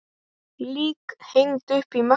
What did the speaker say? Lík hengd upp í Mexíkó